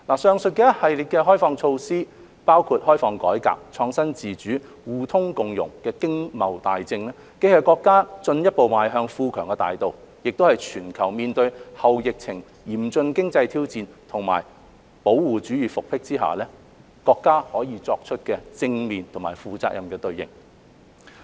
上述一系列的開放措施，包括開放改革、創新自主、互通共融的經貿大政，既是國家進一步邁向富強的大道，亦是全球面對後疫情嚴峻經濟挑戰，以及保護主義復辟下，國家可以作出的正面和負責任的對應。